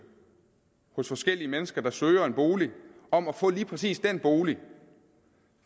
hos forskellige mennesker der søger en bolig om at få lige præcis den bolig